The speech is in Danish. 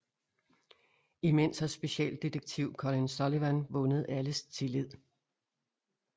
Imens har specialdetektiv Colin Sullivan vundet alles tillid